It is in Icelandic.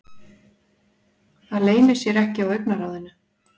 Það leynir sér ekki á augnaráðinu.